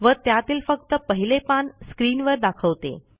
व त्यातील फक्त पहिले पान स्क्रीनवर दाखवते